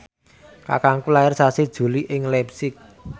kakangku lair sasi Juli ing leipzig